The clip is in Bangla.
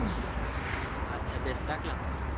আচ্ছা বেশ রাখলাম